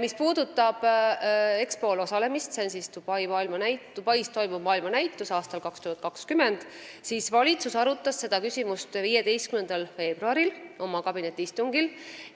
Mis puudutab Expol ehk aastal 2020 Dubais toimuval maailmanäitusel osalemist, siis valitsus arutas seda küsimust 15. veebruaril oma kabinetiistungil